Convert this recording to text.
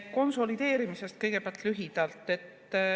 Kõigepealt lühidalt konsolideerimisest.